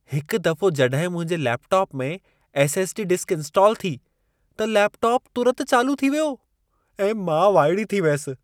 हिक दफ़ो जॾहिं मुंहिंजे लैपटॉप में एस.एस.डी. डिस्क इंस्टाल थी, त लैपटॉप तुरत चालू थी वियो ऐं मां वाइड़ी थी वियसि।